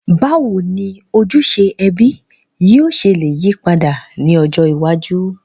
Bàwoni ojúse ẹbí yio se le yípadà ni ọjọ́ iwájú?